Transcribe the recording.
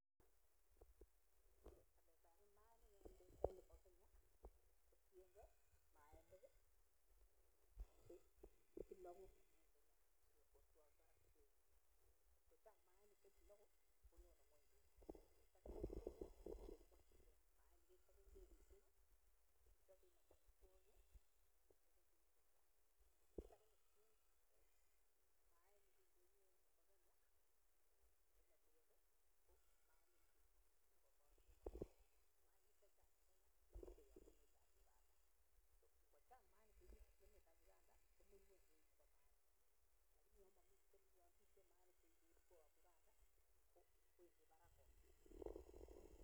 Tos nee chetiengei olietab maainik en ndonyo nebo Kenya.